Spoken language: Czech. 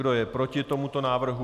Kdo je proti tomuto návrhu?